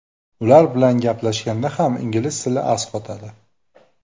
Ular bilan gaplashganda ham ingliz tili as qotadi.